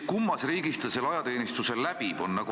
Kummas riigis ta selle ajateenistuse läbib?